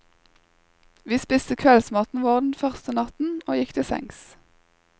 Vi spiste kveldsmaten vår den første natten og gikk til sengs.